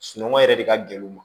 Sunɔgɔ yɛrɛ de ka gɛlɛn u ma